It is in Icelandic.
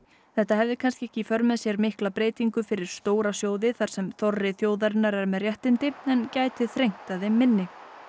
þetta hefði kannski ekki í för með sér mikla breytingu fyrir stóra sjóði þar sem þorri þjóðarinnar er með réttindi en gæti þrengt að þeim minni